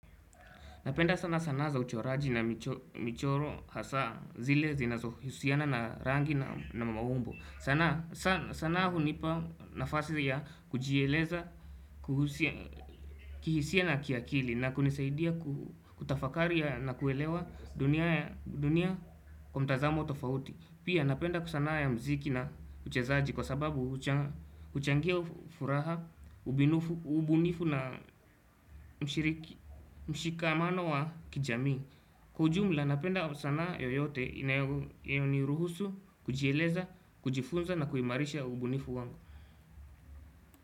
Napenda sana sanaa za uchoraji na michoro hasa zile zinazo husiana na rangi na maumbo. Sanaa hu nipa nafasi ya kujieleza, kuhusia, kihisia na kiakili na kunisaidia kutafakari na kuelewa dunia kwamtazamo tofauti. Pia napenda kusanaa ya mziki na uchezaji kwa sababu uchangia furaha, ubunifu na mshikamano wa kijamii. Kwaujumla napenda sanaa yoyote inayoni ruhusu, kujieleza, kujifunza na kuimarisha ubunifu wangu.